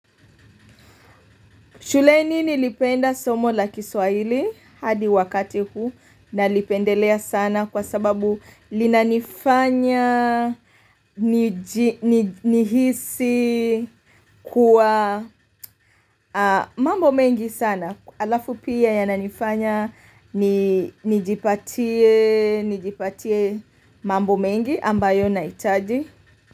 Shuleni nilipenda somo la kiswahili hadi wakati huu nalipendelea sana kwa sababu linanifanya, nihisi kuwa mambo mengi sana. Alafu pia yananifanya, nijipatie mambo mengi ambayo nahitaji.